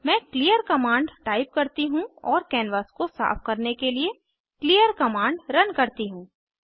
मैं clear command type करती हूँ और कैनवास को साफ करने के लिए क्लीयर कमांड रन करती हूँ